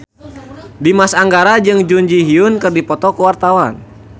Dimas Anggara jeung Jun Ji Hyun keur dipoto ku wartawan